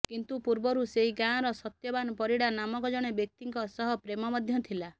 କିନ୍ତୁ ପୂର୍ବରୁ ସେହି ଗାଁ ର ସତ୍ୟବାନ ପରିଡ଼ା ନାମକ ଜଣେ ବ୍ୟକ୍ତିଙ୍କ ସହ ପ୍ରେମ ମଧ୍ୟ ଥିଲା